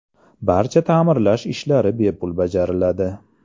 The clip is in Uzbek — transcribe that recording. Barcha ta’mirlash ishlari bepul bajariladi.